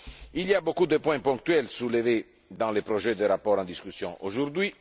Il y a beaucoup de points ponctuels soulevés dans le projet de rapport en discussion aujourd'hui.